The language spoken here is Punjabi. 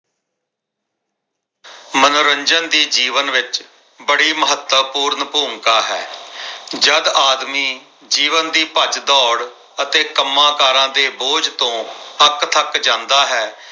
ਮਨੋਰੰਜਨ ਦੀ ਜੀਵਨ ਵਿੱਚ ਬੜੀ ਮਹੱਤਵਪੂਰਨ ਭੂਮਿਕਾ ਹੈ। ਜਦ ਆਦਮੀ ਜੀਵਨ ਦੀ ਭੱਜ ਦੌੜ ਅਤੇ ਕੰਮਾਕਾਰਾਂ ਦੇ ਬੋਝ ਤੋਂ ਅੱਕਥੱਕ ਜਾਂਦਾ ਹੈ।